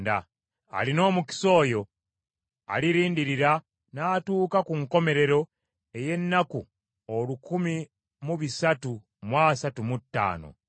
Alina omukisa oyo alirindirira n’atuuka ku nkomerero ey’ennaku olukumi mu bisatu mu asatu mu ttaano.